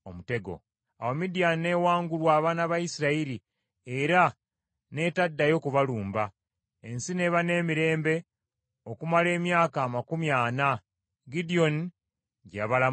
Awo Midiyaani n’ewangulwa abaana ba Isirayiri, era n’etaddayo kubalumba. Ensi n’eba n’emirembe okumala emyaka amakumi ana, Gidyoni gye yabalamula.